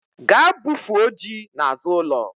Gaa bufuo ji n'azụ ụlọ